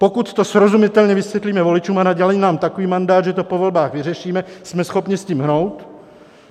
Pokud to srozumitelně vysvětlíme voličům a nadělí nám takový mandát, že to po volbách vyřešíme, jsme schopni s tím hnout.